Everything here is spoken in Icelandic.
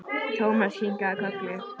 Thomas kinkaði kolli.